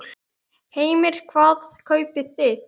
Heimir: Hvað kaupið þið?